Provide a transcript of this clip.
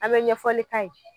An be ɲɛfɔli k'a ye.